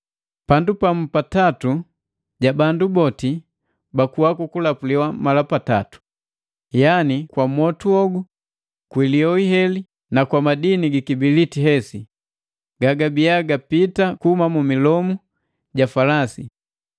Pandu pa mu pa tatu ja bandu boti bakuwa kuku lapuliwa mala patatu, yani kwa mwotu hogu, kwi lioi heli na kwa madini gi kibiliti hesi, ga gabia gapita kuhuma mu milomu ja falasi;